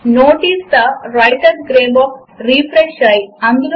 నేను LibreOffice version 333 ను install చేసుకున్నాను